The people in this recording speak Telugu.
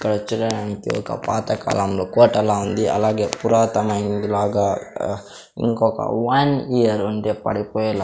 ఇక్కడ చూడడానికి ఒక పాత కాలంలో కోటలా ఉంది అలాగే పురాతమైంది లాగా ఆ ఇంకొక వన్ ఇయర్ ఉండి పడిపోయేలా--